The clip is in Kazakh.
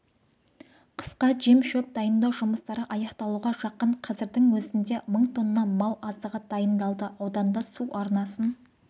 қысқа жем-шөп дайындау жұмыстары аяқталуға жақын қазірдің өзінде мың тонна мал азығы дайындалды ауданда су арнасын